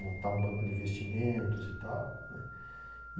montar um banco de investimentos e tal né.